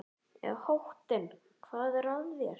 Í háttinn, hvað er að þér?